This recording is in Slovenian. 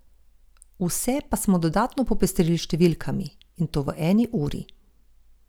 Vse pa smo dodatno popestrili s številkami, in to v eni uri.